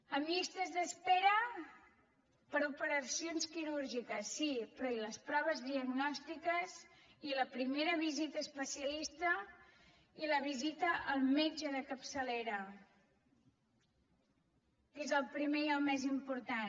amb llistes d’espera per a operacions quirúrgiques sí però i les proves diagnòstiques i la primera visita a especialista i la visita al metge de capçalera que és el primer i el més important